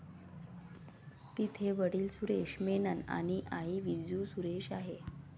तिचे वडिल सुरेश मेनन आणि आई विजू सुरेश आहे.